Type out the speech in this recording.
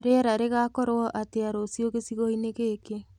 rĩera rĩgakorwo atĩa rũcĩũ gĩcĩgoĩni gĩkĩ